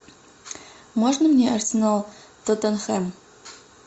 можно мне арсенал тоттенхэм